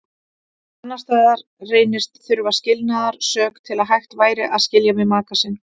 Annars staðar reynist þurfa skilnaðarsök til að hægt væri að skilja við maka sinn.